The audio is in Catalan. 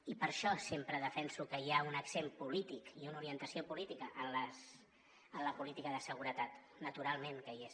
i per això sempre defenso que hi ha un accent polític i una orientació política en la política de seguretat naturalment que hi és